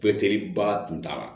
Bɛɛ teriba tun t'a la